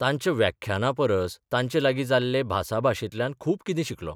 तांच्या व्याख्याना परस तांचे लागीं जाल्ले भासाभाशेंतल्यान खूब कितें शिकलों.